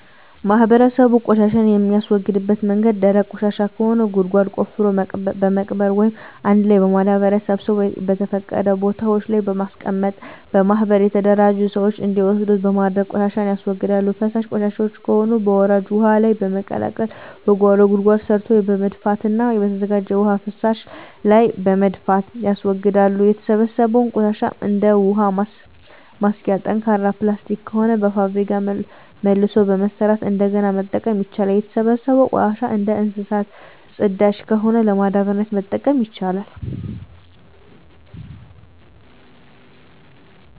ማህበረሰቡ ቆሻሻን የሚያስወግድበት መንገድ ደረቅ ቆሻሻ ከሆነ ጉድጓድ ቆፍሮ በመቅበር ወይም አንድ ላይ በማዳበሪያ ሰብስቦ በተፈቀዱ ቦታወች ላይ በማስቀመጥ በማህበር የተደራጁ ስዎች እንዲወስዱት በማድረግ ቆሻሻን ያስወግዳሉ። ፈሳሽ ቆሻሻወች ከሆኑ በወራጅ ውሀ ላይ በመልቀቅ ከጓሮ ጉድጓድ ሰርቶ በመድፋትና በተዘጋጀ የውሀ መፍሰሻ ላይ በመድፋት ያስወግዳሉ። የተሰበሰበው ቆሻሻ እንደ ውሀ ማሸጊያ ጠንካራ ፕላስቲክ ከሆነ በፋብሪካ መልሶ በመስራት እንደገና መጠቀም ይቻላል። የተሰበሰበው ቆሻሻ እንደ እንሰሳት ፅዳጅ ከሆነ ለማዳበሪያነት መጠቀም ይቻላል።